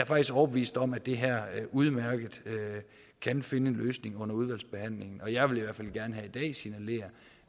faktisk overbevist om at det her udmærket kan finde en løsning under udvalgsbehandlingen jeg vil i hvert fald gerne her i dag signalere